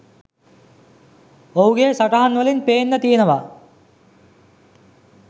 ඔහුගේ සටහන් වලින් පේන්න තියනවා.